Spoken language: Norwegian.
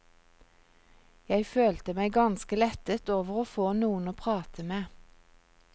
Jeg følte meg ganske lettet over å få noen å prate med.